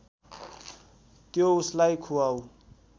त्यो उसलाई खुवाऊ